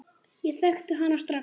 Ég þekkti hana strax.